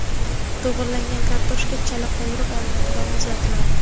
To‘g‘ralgan kartoshka chala qovurib olinadi va muzlatiladi.